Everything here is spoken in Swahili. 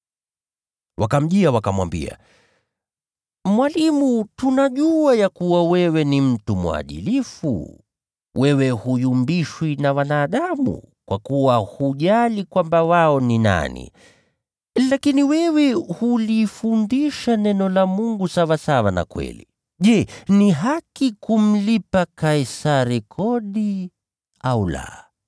Wakamjia, wakamwambia, “Mwalimu, tunajua kwamba wewe ni mtu mwadilifu. Wewe huyumbishwi na wanadamu, kwa kuwa huna upendeleo. Lakini wewe huifundisha njia ya Mungu katika kweli. Je, ni halali kulipa kodi kwa Kaisari, au la?